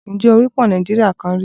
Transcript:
Ǹjẹ́ o rí pọ́ùn Nàìjíríà kan rí?